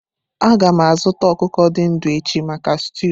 A ga m azụta ọkụkọ dị ndụ echi maka stúu.